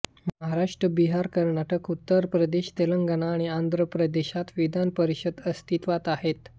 महाराष्ट्र बिहार कर्नाटक उत्तर प्रदेश तेलंगना आणि आंध्र प्रदेशात विधान परिषद अस्तित्वात आहेत